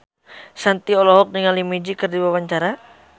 Shanti olohok ningali Magic keur diwawancara